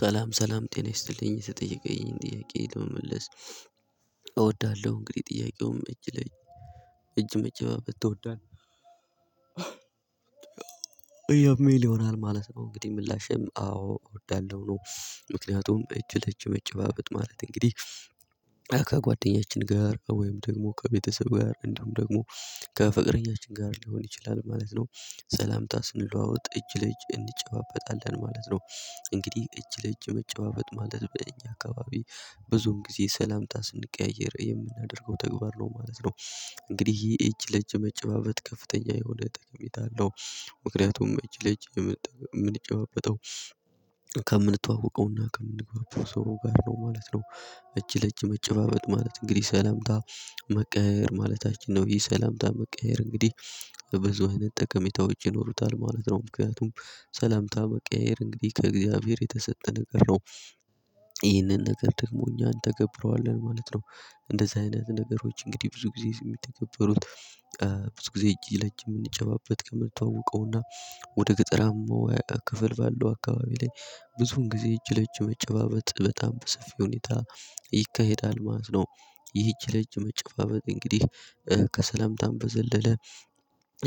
ሰላም ሰላም ጤና ይስጥልኝ። የተጠየቀኝን ጥያቄ ለመመለስ እወዳለሁ እንግዲህ ጥያቄውም እጅ ላይ እጅ መጨባበት ትወዳለህ የሚል ይሆናል ማለት ነው? እንግዲህ ምላሽም አዎ እወዳለሁ ነው። ምክንያቱም እጅ ለጅ መጨባበጥ ማለት እንግዲህ ከጓደኛችን ጋር ወይም ደግሞ ከቤተሰብ ጋር እንደውም ደግሞ ከፍቅረኛችን ጋር ሊሆን ይችላል ማለት ነው። ሰላምታ ስንለዋወጥ እጅ ለእጅ እንጨባበጣለን ማለት ነው። እንግዲህ እጅ ለእጅ መጨባበጥ ማለት ብለን እኛ አካባቢ ብዙን ጊዜ ሰላምጣ ስንቀያይ የምናደርገው ተግባር ነው ማለት ነው። እንግዲህ ይሄ እጅ ለእጅ መጨባበት ከፍተኛ የሆነ ጥቅሜታ አለው። ምክንያቱም እጅ ለጅ የምንጨባበጠው ከምንተዋወቀውና ከምንገባቸው ሰው ጋር ነው ማለት ነው። እቺ ለቺ መጨባበጥ ማለት እንግዲህ ሰላምታ መቀየር ማለታችን ነው። ይሄ ሰላምታ መቀየር እንግዲህ በብዙ አይነት ጠቀሜታ ውጪ ይኖሩታል ማለት ነው። ምክንያቱም ሰላምታ መቀየር እንግዲህ ከእግዚአብሔር የተሰጠ ነገር ነው። ይህንን ነገር ደግሞ እኛን ተገብረዋለን ማለት ነው። እንደዚህ አይነት ነገሮች እንግዲህ ብዙ ጊዜ የሚተከበሩት። ብዙ ጊዜ ለጅ የምንጨባበጥ ከምንተዋወቀውና ወደ ገጠራማው ክፍል ባለው አካባቢ ላይ ብዙን ጊዜ እጅ ለእጅ መጨባበጥ በጣም በሰፊ ሁኔታ ይካሄዳል ማለት ነው። ይህች ልጅ መጨፋፈጥ እንግዲህ ከሰላምታም በዘለለ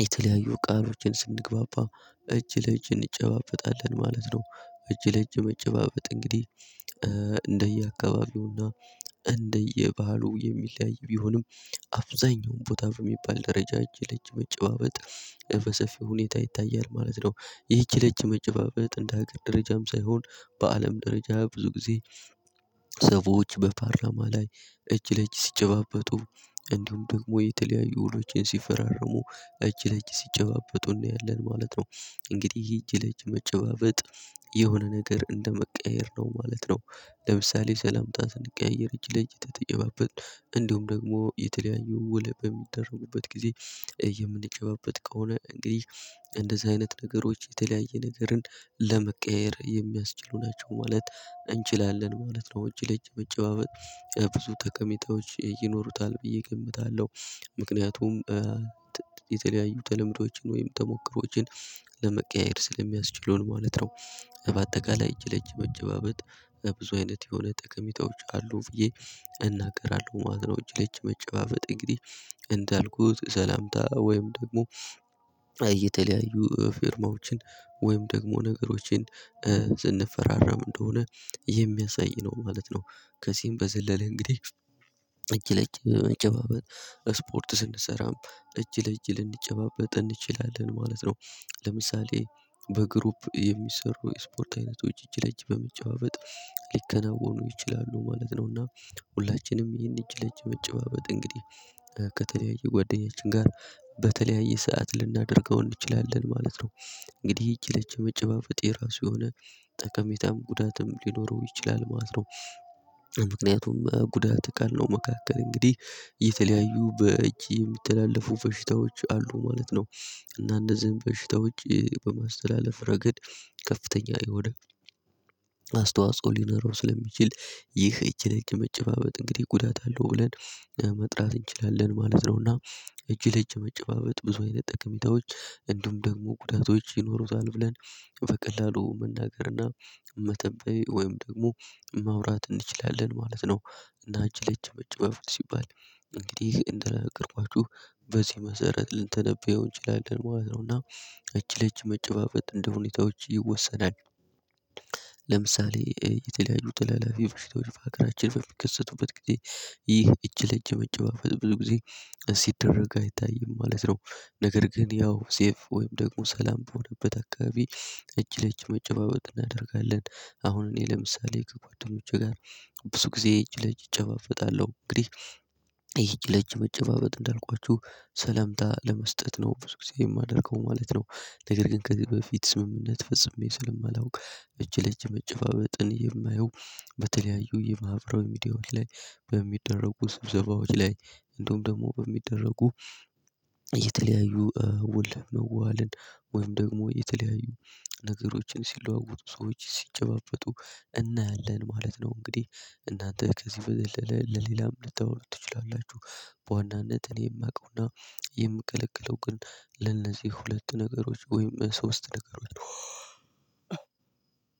የተለያዩ ቃሎችን ስንግባባ እጅ ለእጅ እንጨባበጣለን ማለት ነው። እጅ ለእጅ መጨባበጥ እንግዲህ እንደየአካባቢውና እንደየባህሉ የሚለያይ ቢሆንም አብዛኛውን ቦታ በሚባል ደረጃ እጅ ለጭባበጥ በሰፊው ሁኔታ ይታያል ማለት ነው። ይህች ለጅ መጨፋፈጥ እንደ ሀገር ደረጃም ሳይሆን በአለም ደረጃ ብዙ ጊዜ ሰዎች በፓርላማ ላይ እጅ ለእጅ ሲጨባበጡ እንዲሁም ደግሞ የተለያዩ ውሎችን ሲፈራርሙ እጅ ለእጅ ሲጨባበጡ እንዲያለን ማለት ነው። እንግዲህ እጅ ለእጅ መጨባበጥ የሆነ ነገር እንደመቀየር ነው ማለት ነው። ለምሳሌ ሰላም ታስንቀያየር እጅ ለእጅ ተጠየባበት እንዲሁም ደግሞ የተለያዩ ውለ በሚደረጉበት ጊዜ የምንጨባበጥ ከሆነ እንግዲህ እንደዚህ አይነት ነገሮች የተለያየ ነገርን ለመቀያየር የሚያስችሉ ናቸው ማለት እንችላለን ማለት ነው። ውጪ ለጨበጨበጭ ብዙ ተከሜታዎች ይኖሩታል ብዬ እገምታለሁ። ምክንያቱም የተለያዩ ተለምዶችን ወይም ተሞክሮዎችን ለመቀያየር ስለሚያስችለው ማለት ነው። በአጠቃላይ እጅ ለች መጀባበት ብዙ አይነት የሆነ ጠቀሚታዎች አሉ ብዬ እናቀራለሁ ማለት ነው። ጭለጭ መጀባበት እንግዲህ እንዳልኩት ሰላምታ ወይም ደግሞ እየተለያዩ ፊርማዎችን ወይም ደግሞ ነገሮችን ዝንፈራራም እንደሆነ የሚያሳይ ነው ማለት ነው። ከዚህም በዘለለ እንግዲህ እጅ ለእጅ ለመጨባበጥ ስፖርት ስንሰራም እጅ ለእጅ ልንጨባበጥ እንችላለን ማለት ነው። ለምሳሌ በግሩፕ የሚሰሩ ስፖርት አይነቶች እጅ ለእጅ በመጨባበጥ ሊከናወኑ ይችላሉ ማለት ነው። እና ሁላችንም ይህን እጅ ለጭ መጨባበጥ እንግዲህ ከተለያየ ጓደኛዬ ጋር በተለያየ ሰዓት ልናደርገው እንችላለን ማለት ነው። እንግዲህ ይሄ የመጨባጨብ የራሱ የሆነ ጠቀሜታም ጉዳትም ሊኖረው ይችላል ማለት ነው። ምክንያቱም ጉዳት ቃል ነው መካከል እንግዲህ የተለያዩ በእጅ የሚተላለፉ በሽታዎች አሉ ማለት ነው። እና እንደዚህም በሽታ ውጪ በማስተላለፍ ረገድ ከፍተኛ የሆነ ሊኖረው ስለሚችል ይህ እጅ እጅ መጨባበጥ እንግዲህ ጉዳት አለው ብለን ለመጥራት እንችላለን ማለት ነውና። እጅ ለእጅ መጨባበጥ ብዙ አይነት ጥቅሚታዎች እንዲሁም ደግሞ ጉዳቶች ይኖሩታል ብለን በቀላሉ መናገርና መተበይ ወይም ደግሞ ማውራት እንችላለን ማለት ነው። እና እጅ ለች መጨመፍ ሲባል እንግዲህ እንደነገርኳችሁ በዚህ መሰረት ልንተነብየው እንችላለን ማለት ነው። እና እቺ ለች መጨፋፈጥ እንደሁኔታዎች ይወሰናል። ለምሳሌ የተለያዩ ጥላላፊ በሽተው ሀገራችን በሚከሰቱበት ጊዜ ይህ እጅ ለእጅ መጨባበጥ ብዙ ጊዜ እዚህ ሲደረግ አይታይም ማለት ነው። ነገር ግን ያው ሴፍ ወይም ደግሞ ሰላም በሆነበት አካባቢ እጅ ለእጅ መጨባበጥ እናደርጋለን። አሁን እኔ ለምሳሌ ከጓደኞቼ ጋር ብዙ ጊዜ እጅ ለእጅ እጨባበጣለሁ እንግዲህ ይሄ ለጅ መጨባበጥ እንዳልኳችሁ ሰለምታ ለመስጠት ነው ብዙ ጊዜ የማደርገው ማለት ነው። ነገር ግን ከፊት ስምምነት ፍጹም ስለማላውቅ እጅ ለእጅ መጨባበጥን የማየው በተለያዩ የማህበራዊ ሚዲያዎች ላይ በሚደረጉ ስብዘባዎች ላይ እንደውም ደግሞ በሚደረጉ የተለያዩ ውል መዋዋልን ወይም ደግሞ የተለያዩ ነገሮችን ሲለዋወጡ ሰዎች ሲጨባጨቡ እናያለን ማለት ነው። እንግዲህ እናንተ ከዚህ በደለ ለሌላም ልታወሩ ትችላላችሁ በዋናነት እኔ የማውቀውና የምቀለቅለው ግን ለነዚህ ሁለት ነገሮች ወይም ሶስት ነገሮች።